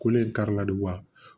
Ko ne kari la wa